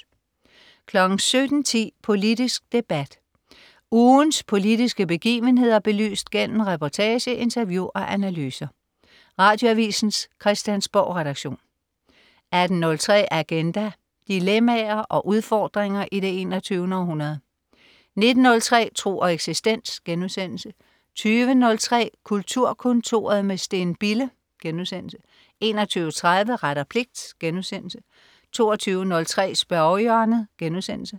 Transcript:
17.10 Politisk debat. Ugens politiske begivenheder belyst gennem reportage, interview og analyser. Radioavisens Christiansborgredaktion 18.03 Agenda. Dilemmaer og udfordringer i det 21. århundrede 19.03 Tro og eksistens* 20.03 Kulturkontoret med Steen Bille* 21.30 Ret og pligt* 22.03 Spørgehjørnet*